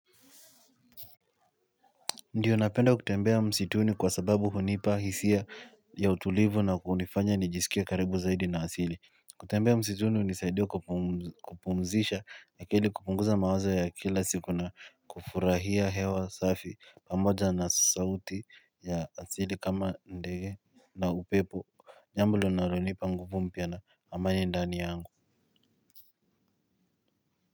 Ndiyo napenda kutembea msituni kwa sababu hunipa hisia ya utulivu na kunifanya nijisikie karibu zaidi na asili. Kutembea msituni hunisaidia kupumzisha akili kupunguza mawazo ya kila siku na kufurahia hewa safi pamoja na sauti ya asili kama ndege na upepo. Jambo linalonipa nguvu mpya na amani ndani yangu.